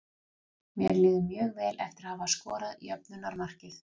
Mér líður mjög vel eftir að hafa skorað jöfnunarmarkið.